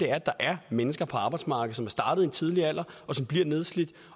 er at der er mennesker på arbejdsmarkedet som er startet i en tidlig alder og som bliver nedslidt